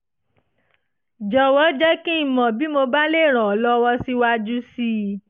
jọ̀wọ́ jẹ́ kí n mọ̀ bí mo bá lè ràn ọ́ lọ́wọ́ síwájú sí i